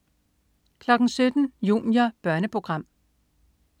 17.00 Junior. Børneprogram